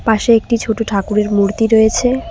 পাশে একটি ছোট ঠাকুরের মূর্তি রয়েছে।